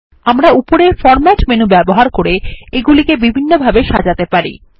আমরা উপরের format menu ব্যবহার করে এগুলিকে বিভিন্নভাবে সাজাতে পারি